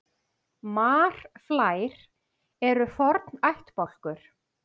Marflær eru forn ættbálkur.